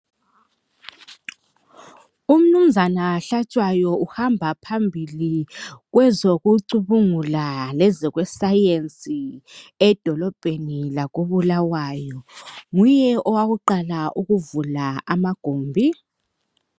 Umnumzana Hlatshwayo uhamba phambili kwezokucubungula lezokwe sayensi. Edolobheni lakobulawayo, nguye owakuqala ukuvula amagombi.